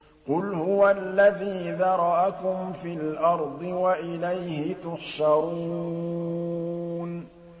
قُلْ هُوَ الَّذِي ذَرَأَكُمْ فِي الْأَرْضِ وَإِلَيْهِ تُحْشَرُونَ